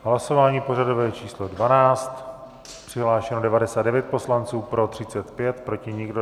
Hlasování pořadové číslo 12, přihlášeno 99 poslanců, pro 35, proti nikdo.